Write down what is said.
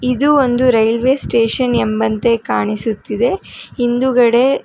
ಇದು ಒಂದು railway station ಎಂಬಂತೆ ಕಾಣಿಸುತ್ತಿದೆ ಹಿಂದುಗಡೆ--